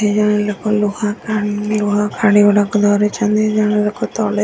ଏଇ ଜଣେ ଲୋକ ଲୁହା କାନ୍ ଲୁହା ଖାଡ଼ିଗୁଡାକ ଧରିଛନ୍ତି ଜଣେ ଲୋକ ତଳେ --